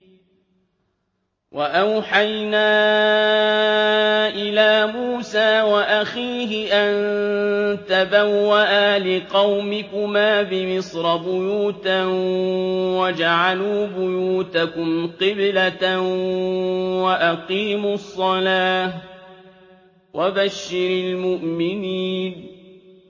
وَأَوْحَيْنَا إِلَىٰ مُوسَىٰ وَأَخِيهِ أَن تَبَوَّآ لِقَوْمِكُمَا بِمِصْرَ بُيُوتًا وَاجْعَلُوا بُيُوتَكُمْ قِبْلَةً وَأَقِيمُوا الصَّلَاةَ ۗ وَبَشِّرِ الْمُؤْمِنِينَ